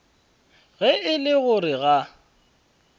ge e le gore ga